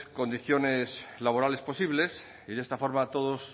condiciones laborales posibles y de esta forma todos